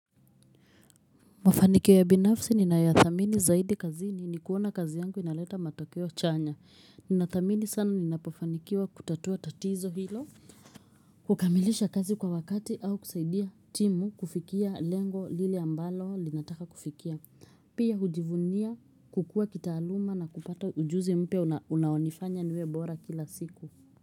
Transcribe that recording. Mafanikio ya binafsi ninayoyathamini zaidi kazini, nikuona kazi yangu inaleta matokeo chanya. Ninathamini sana ninapofanikiwa kutatua tatizo hilo. Kukamilisha kazi kwa wakati au kusaidia timu kufikia lengo lile ambalo linataka kufikia. Pia hujivunia kukua kitaaluma na kupata ujuzi mpya unaonifanya niwe bora kila siku.